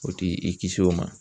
O ti i kisi o ma